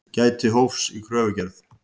Gæti hófs í kröfugerð